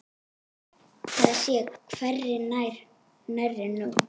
Það sé hvergi nærri nóg.